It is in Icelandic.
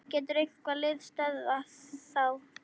Getur eitthvað lið stöðvað þá?